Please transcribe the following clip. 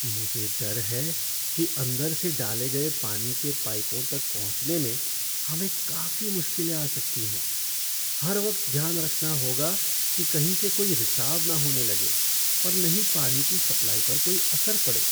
मुझे डर है कि अंदर से डाले गए पानी के पाइपों तक पहुँचने में हमें काफी मुश्किलें आ सकती हैं हर वक्त ध्यान रखना होगा कि कहीं से कोई रिसाव न होने लगे और न ही पानी की सप्लाई पर कोई असर पड़े।